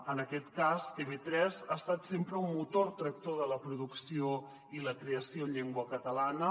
en aquest cas tv3 ha estat sempre un motor tractor de la producció i la creació en llengua ca·talana